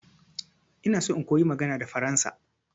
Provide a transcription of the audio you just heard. Ina so in koyi magana da faransa.